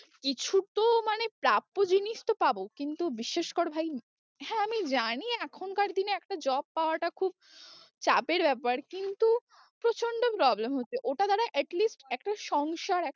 কিছু তো মানে প্রাপ্য জিনিস তো পাবো, কিন্তু বিশ্বাস কর ভাই, হ্যাঁ আমি জানি এখনকার দিনে একটা job পাওয়াটা খুব চাপের ব্যাপার কিন্তু প্রচন্ড problem হচ্ছে, ওটা যারা at least একটা সংসার